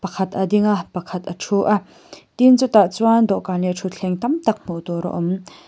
khat a ding a pakhat a thu a tin chutah chuan dawhkan leh thuthleng tam tak hmuh tur a awm.